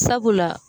Sabula